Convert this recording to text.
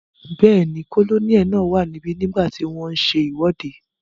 Bẹ́ẹ̀ni, kólóníẹ̀ náà wà níbi nígbàtí wọ́n n ṣe ìwọ́de